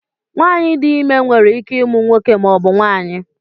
Nwanyị di ime nwere ike ịmụ nwoke maọbụ nwanyi